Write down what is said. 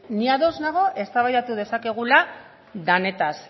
ni ados nago eztabaidatu dezakegula denetaz